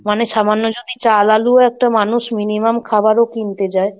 মানে সামান্য যদি চাল, আলু একটা মানুষ minimum খাবারও কিনতে যায়,